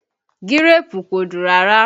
Gíréèpù kò dùn rárá